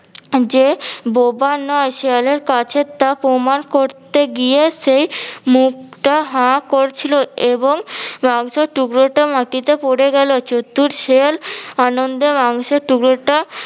যে বোবা নয় শেয়ালের কাছে তা প্রমান করতে গিয়ে সেই মুখটা হা করছিলো এবং মাংসের টুকরোটা মাটিতে পরে গেলো চতুর শেয়াল আনন্দে মাংসের টুকরোটা